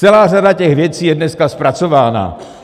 Celá řada těch věcí je dneska zpracována.